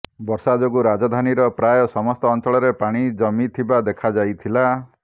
ବର୍ଷା ଯୋଗୁଁ ରାଜଧାନୀର ପ୍ରାୟ ସମସ୍ତ ଅଞ୍ଚଳରେ ପାଣି ଜମିଥିବା ଦେଖାଯାଇଥିଲା